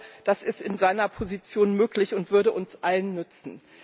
Ich glaube, das ist in seiner Position möglich und würde uns allen nutzen.